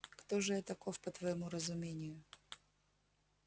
кто же я таков по твоему разумению